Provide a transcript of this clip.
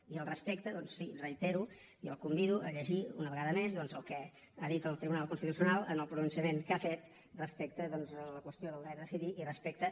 i al respecte doncs sí reitero i el convido a llegir una vegada més el que ha dit el tribunal constitucional en el pronunciament que ha fet respecte a la qüestió del dret a decidir i respecte